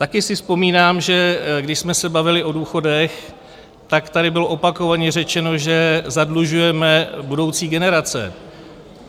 Taky si vzpomínám, že když jsme se bavili o důchodech, tak tady bylo opakovaně řečeno, že zadlužujeme budoucí generace.